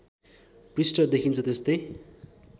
पृष्ठ देखिन्छ त्यस्तै